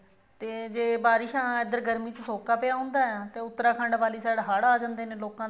ਤੇ ਜੇ ਬਾਰਿਸ਼ਾਂ ਇੱਧਰ ਗਰਮੀ ਚ ਸੋਕਾ ਪਿਆ ਹੁੰਦਾ ਤੇ ਉੱਤਰਾਖੰਡ ਵਾਲੀ side ਹੜ ਆ ਜਾਂਦੇ ਨੇ ਲੋਕਾਂ ਦਾ